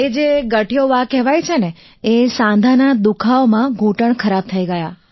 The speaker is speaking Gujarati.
એ જે ગઠીયોવા કહેવાય છે એ જે સાંધાના દુખાવામાં ઘૂંટણ ખરાબ થઈ ગયા